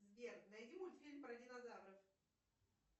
сбер найди мультфильм про динозавров